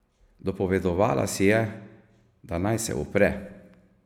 Dopovedovala si je, da naj se upre.